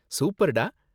சூப்பர்டா.